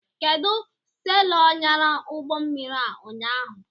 Kedụ selọ nyara ụgbọmmiri a ụnyaahụ?